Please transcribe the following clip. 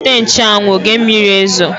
Weta nche anwụ, oge mmiri ezo!